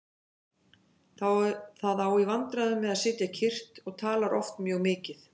Það á í vandræðum með að sitja kyrrt og talar oft mjög mikið.